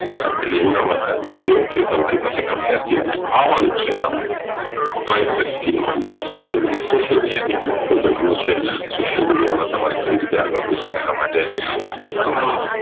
એટલે એવું ના માનતા કે કે તમારી પાસે કામ નથી આવાનું જ છે કામ હોવી જોઈએ social media socialmedia એક મોટો દરિયો છે sociamedia માં તમારે કઈ રીતે આગળ વધવું અને માટે ઘણા